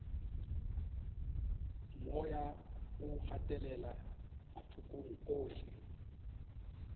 moya o gatelela mathokong ohle